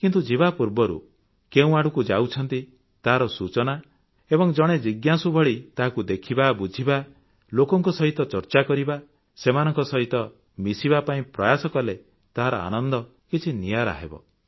କିନ୍ତୁ ଯିବା ପୂର୍ବରୁ କେଉଁ ଆଡ଼କୁ ଯାଉଛନ୍ତି ତାହାର ସୂଚନା ଏବଂ ଜଣେ ଜିଜ୍ଞାସୁ ଭଳି ତାହାକୁ ଦେଖିବା ବୁଝିବା ଲୋକଙ୍କ ସହିତ ଚର୍ଚ୍ଚା କରିବା ସେମାନଙ୍କ ସହିତ ମିଶିବା ପାଇଁ ପ୍ରୟାସ କଲେ ତାହାର ଆନନ୍ଦ କିଛି ନିଆରା ହେବ